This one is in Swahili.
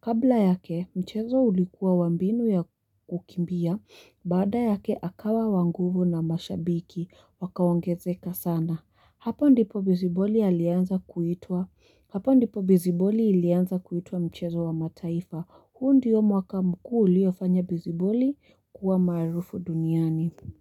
Kabla yake, mchezo ulikuwa wa mbinu ya kukimbia, baada yake akawa wanguvu na mashabiki wakaongezeka sana. Hapo ndipo beziboli ilianza kuitwa mchezo wa mataifa. Huu ndiyo mwaka mkuu uliofanya beziboli kuwa maarufu duniani.